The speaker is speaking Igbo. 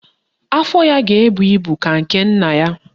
Afọ ya ga-ebu ibu ka nke nna ya